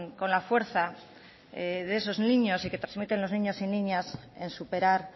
con la fuerza de esos niños y que trasmiten los niños y niñas en superar